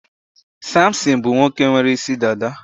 Samson bụ nwoke nwere isi dada.